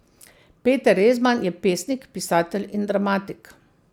Peter Rezman je pesnik, pisatelj in dramatik.